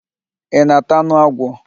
Ị na-ata anụ agwọ?